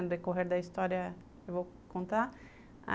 No decorrer da história, eu vou contar.